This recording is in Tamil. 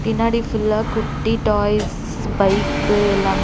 பின்னாடி ஃபுல்லா குட்டி டாய்ஸ் பைக்கு எல்லாம்--